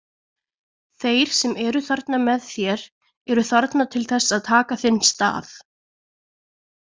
Þeir sem eru þarna með þér eru þarna til þess að taka þinn stað.